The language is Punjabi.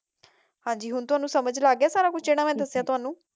ਹਾਂਜੀ ਹੁਣ ਤੁਹਾਨੂੰ ਸਮਝ ਲੱਗ ਗਿਆ ਸਾਰਾ ਕੁਝ ਜਿਹੜਾ ਮੈਂ ਦੱਸਿਆ ਤੁਹਾਨੂੰ